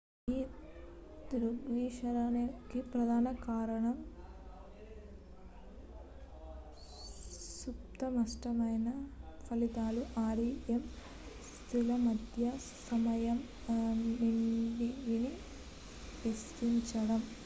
ఈ దృగ్విషయానికి ప్రధాన కారణం సుస్పష్టమైన స్వప్నాల ఫలితాలు rem స్థితుల మధ్య సమయం నిడివిని విస్తరించడం